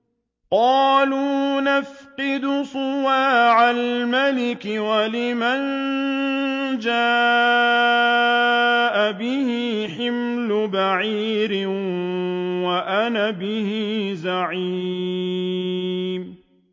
قَالُوا نَفْقِدُ صُوَاعَ الْمَلِكِ وَلِمَن جَاءَ بِهِ حِمْلُ بَعِيرٍ وَأَنَا بِهِ زَعِيمٌ